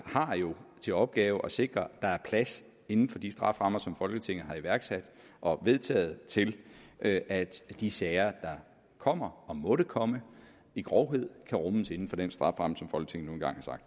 har jo til opgave at sikre at der er plads inden for de strafferammer som folketinget har iværksat og vedtaget til at at de sager der kommer og måtte komme i grovhed kan rummes inden for den strafferamme som folketinget